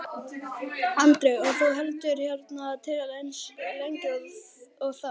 Andri: Og þú heldur hérna til eins lengi og þarf?